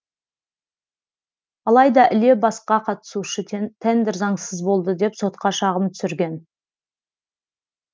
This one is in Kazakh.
алайда іле басқа қатысушы тендер заңсыз болды деп сотқа шағым түсірген